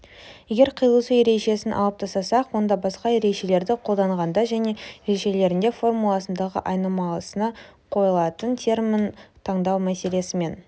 егер қиылысу ережесін алып тастасақ онда басқа ережелерді қолданғанда және ережелерінде формуласындағы айнымалысына қойылатын термін таңдау мәселесімен